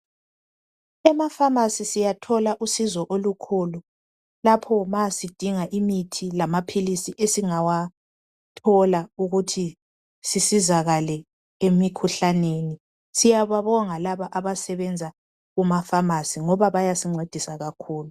Emafamasi siyathola usizo olukhulu lapho ma sidinga imithi lamaphilisi esingawathola ukuthi sisizakale emikhuhlaneni, siyababonga laba abasenza kumafamasi ngoba bayasincedisa kakhulu.